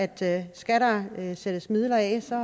der skal sættes midler af så